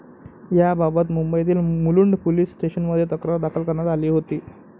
याबाबत मुंबईतील मुलुंड पोलिस स्टेशनमध्ये तक्रार दाखल करण्यात आली होती.